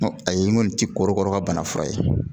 Ayi n kɔni ti korokara ka bana fura ye